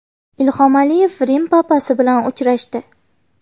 Ilhom Aliyev Rim papasi bilan uchrashdi.